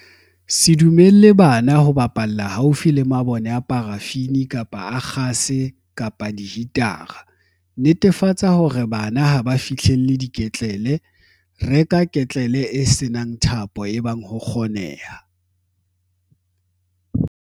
Se dumelle bana ho bapalla haufi le mabone a parafini kapa a kgase kapa dihitara. Netefatsa hore bana ha ba fihlelle ketlele. Reka ketlele e se nang thapo ebang ho kgoneha.